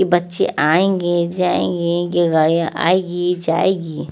के बच्चे आयेंगे जायेंगे की गाडिया आएगी जायेगी--